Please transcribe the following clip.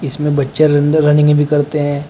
इसमें बच्चे रनिंग भी करते हैं।